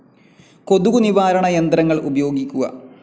കൊതുകു നിവാരണ യന്ത്രങ്ങൾ ഉപയോഗിക്കുക.